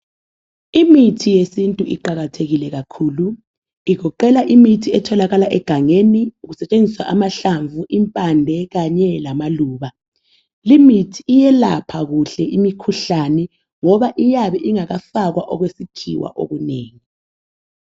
Imithi yesintu iqakathekile kakhulu . Igoqela imithi etholakala egangeni kusetshenziswa amahlamvu, impande kanye lamaluba . Limithi iyelapha kuhle imikhuhlane ngoba iyabe ingakafakwa okwesikhiwa okunengi.